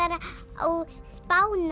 á Spáni